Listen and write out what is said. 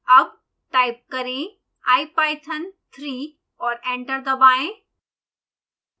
अब टाइप करें ipython3 और एंटर दबाएं